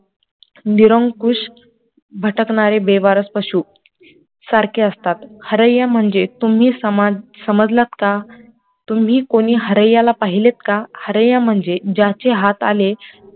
निरंकुश, भटकणारे बेवारस पशु सारखे असतात, हरय्या म्हणजे तुम्ही समजलात का, तुम्ही कोणी हरय्या ला पाहिलेत का, हरय्या म्हणजे ज्याचे हात आले,